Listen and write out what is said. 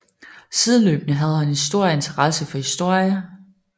Sideløbende havde han stor interesse for historie